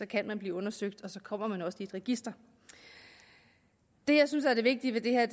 kan man blive undersøgt og så kommer man også i et register det jeg synes er vigtigt ved det her